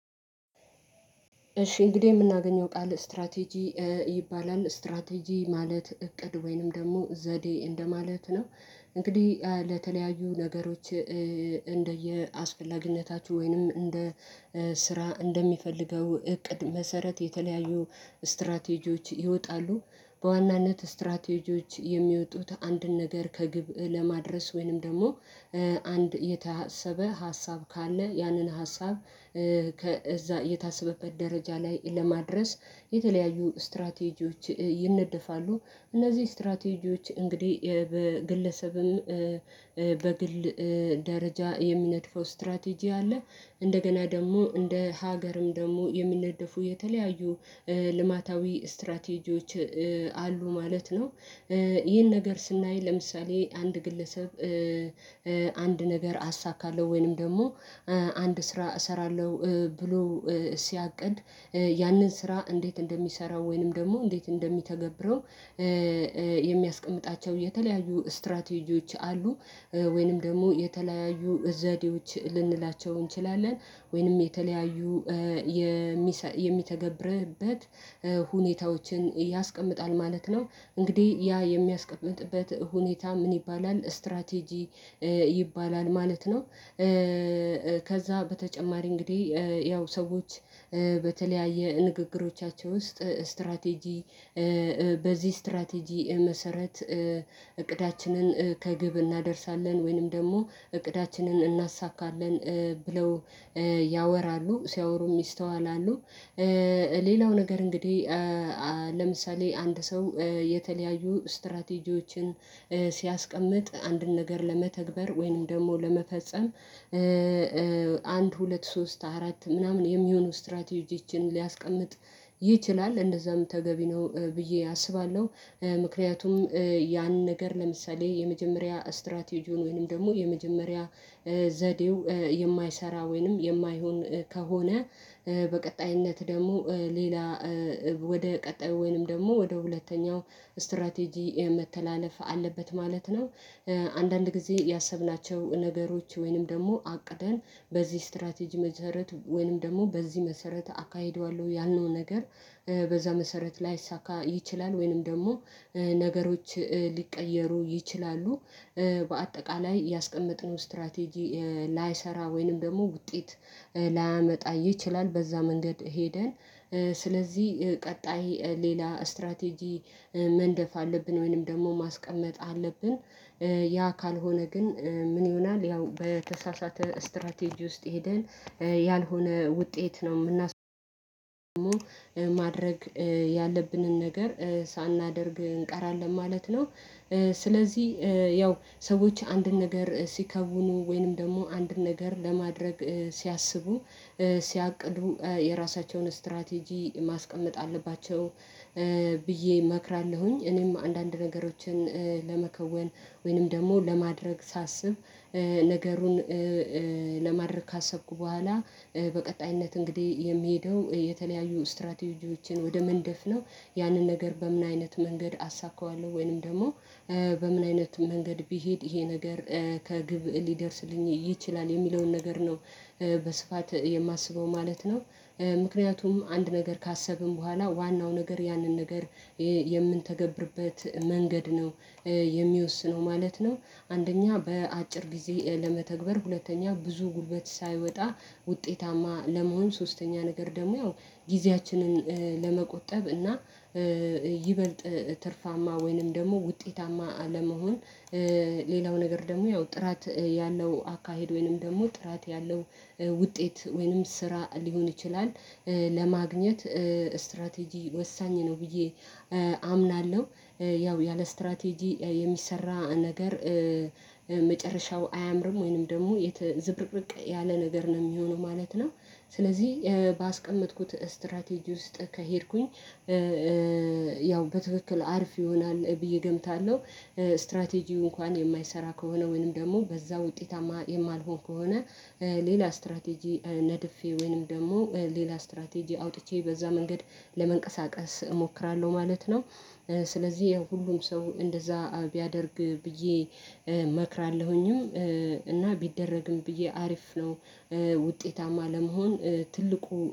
እሺ እንግዲህ የምናገኘው ቃል ስትራቴጂ ይባላል ስትራቴጂ ማለት እቅድ ወይንም ደግሞ ዘዴ እንደማለት ነው። እንግዲህ ለተለያዩ ነገሮች እንደየአስፈላጊነታችሁ ወይንም እንደ ስራ እንደሚፈልገው እቅድ መሰረት የተለያዩ ስትራቴጂዎች ይወጣሉ በዋናነት ስትራቴጂዎች የሚወጡት አንድን ነገር ከግብ ለማድረስ ወይንም ደግሞ አንድ የታሰበ ሀሳብ ካለ ያንን ሀሳብ ከዛ የታሰበበት ደረጃ ላይ ለማድረስ የተለያዩ ስትራቴጂዎች ይነደፋሉ። እነዚህ ስትራቴጂዎች እንግዲህ በግለሰብም በግል ደረጃ የሚነድፈው ስትራቴጂ አለ እንደገና ደግሞ እንደ ሀገርም ደግሞ የሚነደፉ የተለያዩ ልማታዊ ስትራቴጂዎች አሉ ማለት ነው። ይህን ነገር ስናይ ለምሳሌ አንድ ግለሰብ አንድ ነገር አሳካለሁ ወይንም ደግሞ አንድ ስራ እሰራለሁ ብሎ ሲያቅድ ያንን ስራ እንዴት እንደሚሰራው ወይንም ደግሞ እንዴት እንደሚተገብረው የሚያስቀምጣቸው የተለያዩ ስትራቴጂዎች አሉ። ወይንም ደግሞ የተለያዩ ዘዴዎች ልንላቸው እንችላለን ወይንም የተለያዩ የሚተገብርበት ሁኔታዎችን ያስቀምጣል ማለት ነው። እንግዲህ ያ የሚያስቀምጥበት ሁኔታ ምን? ይባላል ስትራቴጂ ይባላል ማለት ነው። ከዛ በተጨማሪ እንግዲህ ያው ሰዎች በተለያየ ንግግሮቻቸው ውስጥ ስትራቴጂ በዚህ ስትራቴጂ መሰረት እቅዳችንን ከግብ እናደርሳለን ወይንም ደግሞ እቅዳችንን እናሳካለን ብለው ያወራሉ ሲያወሩ ይስተዋላሉ። ሌላው ነገር እንግዲህ ለምሳሌ አንድ ሰው የተለያዩ ስትራቴጂዎችን ሲያስቀምጥ አንድን ነገር ለመተግበር ወይንም ደግሞ ለመፈጸም አንድ ሁለት ሶስት አራት ምናምን የሚሆኑ ስትራቴጂችን ሊያስቀምጥ ይችላል እንደዛም ተገቢ ነው። ብዬ አስባለሁ ምክንያቱም ያን ነገር ለምሳሌ የመጀመሪያ ስትራቴጂውን ወይንም ደግሞ የመጀመሪያ ዘዴው የማይሰራ ወይንም የማይሆን ከሆነ በቀጣይነት ደግሞ ሌላ ወደ ቀጣይ ወይንም ደግሞ ወደ ሁለተኛው ስትራቴጂ መተላለፍ አለበት ማለት ነው። አንዳንድ ጊዜ ያሰብናቸው ነገሮች ወይንም ደግሞ አቅደን በዚህ ስትራቴጂ መሰረት ወይንም ደግሞ በዚህ መሰረት አካሂደዋለሁ ያልነውን ነገር በዛ መሰረት ላይሳካ ይችላል ወይንም ደግሞ ነገሮች ሊቀየሩ ይችላሉ። በአጠቃላይ ያስቀመጥነውን ስትራቴጂ ላይሰራ ወይንም ደግሞ ውጤት ላያመጣ ይችላል በዛ መንገድ ሄደ ስለዚህ ቀጣይ ሌላ ስትራቴጂ መንደፍ አለብን ወይንም ደግሞ ማስቀመጥ አለብን። ያ ካልሆነ ግን ምን ይሆናል? ያው በተሳሳተ ስትራቴጂ ውስጥ ሄደን ያልሆነ ውጤት ነው የምናስመዘግበው ደግሞ ማድረግ ያለብንን ነገር ሳናደርግ እንቀራለን ማለት ነው። ስለዚህ ያው ሰዎች አንድን ነገር ሲከውኑ ወይንም ደግሞ አንድን ነገር ለማድረግ ሲያስቡ ሲያቅዱ የራሳቸውን ስትራቴጂ ማስቀመጥ አለባቸው። ብዬ እመክራለሁኝ እኔም አንዳንድ ነገሮችን ለመከወን ወይንም ደግሞ ለማድረግ ሳስብ ነገርን ለማድረግ ካሰብኩ በኋላ በቀጣይነት እንግዲህ የሚሄዱ የተለያዩ ስትራቴጂዎችን ወደ መንደፍ ነው። ያንን ነገር በምን አይነት መንገድ አሳካዋለሁ ወይንም ደግሞ በምን አይነት መንገድ ቢሄድ ይሄ ነገር ከግብ ሊደርስልኝ ይችላል የሚለውን ነገር ነው በስፋት የማስበው ማለት ነው። ምክንያቱም አንድ ነገር ካሰብን በኋላ ዋናው ነገር ያንን ነገር የምንተገብርበት መንገድ ነው የሚወስነው ማለት ነው። አንደኛ በአጭር ጊዜ ለመተግበር ሁለተኛ ብዙ ጉልበት ሳይወጣ ውጤታማ ለመሆን ሶስተኛ ነገር ደግሞ ያው ጊዜያችንን ለመቆጠብ እና ይበልጥ ትርፋማ ወይንም ደግሞ ውጤታማ አለመሆን ሌላው ነገር ደግሞ ያው ጥራት ያለው አካሄድ ወይንም ደግሞ ጥራት ያለው ውጤት ወይንም ስራ ሊሆን ይችላል ለማግኘት ስትራቴጂ ወሳኝ ነው። ብዬ አምናለሁ። ያው ያለ ስትራቴጂ የሚሰራ ነገር መጨረሻው አያምርም ወይንም ደግሞ ዝብርቅርቅ ያለ ነገር ነው የሚሆነው ማለት ነው። ስለዚህ ባስቀመጥኩት ስትራቴጂ ውስጥ ከሄድኩኝ ያው በትክክል አርፍ ይሆናል ብዬ እገምታለሁ። ስትራቴጂው እንኳን የማይሰራ ከሆነ ወይንም ደግሞ በዛ ውጤታማ የማልሆን ከሆነ ሌላ ስትራቴጂ ነድፌ ወይንም ደግሞ ሌላ ስትራቴጂ አውጥቼ በዛ መንገድ ለመንቀሳቀስ እሞክራለሁ ማለት ነው። ስለዚህ የሁሉም ሰው እንደዛ ቢያደርግ ብዬ እመክራለሁኝም እና ቢደረግም ብዬ አሪፍ ነው። ውጤታማ ለመሆን ትልቁ